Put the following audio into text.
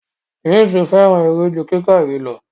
James fẹràn eré ju kíkà ìwé lọ.